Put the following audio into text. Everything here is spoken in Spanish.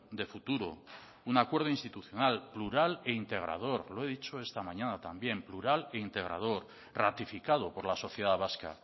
de futuro un acuerdo institucional plural e integrador lo he dicho esta mañana también plural e integrador ratificado por la sociedad vasca